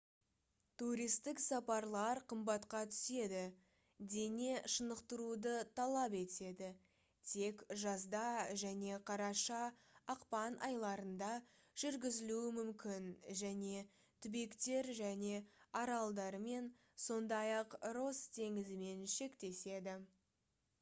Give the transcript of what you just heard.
туристік сапарлар қымбатқа түседі дене шынықтыруды талап етеді тек жазда және қараша-ақпан айларында жүргізілуі мүмкін және түбектер және аралдармен сондай-ақ росс теңізімен шектеседі